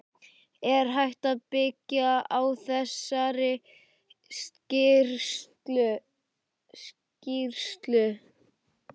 Er hægt að byggja á þessari skýrslu?